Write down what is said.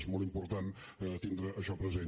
es molt important tindre això present